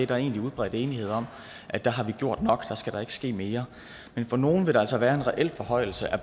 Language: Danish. der er egentlig udbredt enighed om at der har vi gjort nok at der skal der ikke ske mere men for nogle vil der altså være en reel forhøjelse af